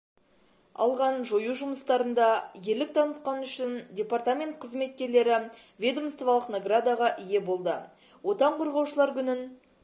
алған жою жұмыстарында ерлік танытқаны үшін департамент қызметкерлері ведомстволық наградаға ие болды отан қорғаушылар күнін